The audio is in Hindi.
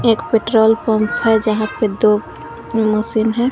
एक पेट्रोल पंप है यहां पे दो मशीन हैं।